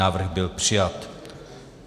Návrh byl přijat.